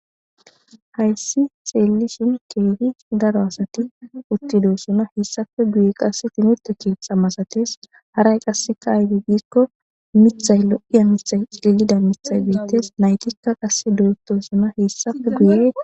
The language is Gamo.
Hayssi xelishshin kehi daro asati utidosona. Hesappe guye qase timirtte keththa masates haray qase aybbe gikko miththay lo'ida miththay bettes nayttikka qase lo'i dossona. Hesappe guye